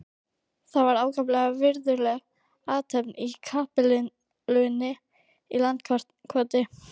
Það var ákaflega virðuleg athöfn í kapellunni í Landakoti.